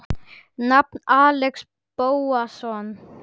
Nafn: Axel Bóasson